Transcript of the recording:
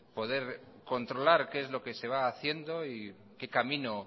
poder controlar qué es lo que se va haciendo y qué camino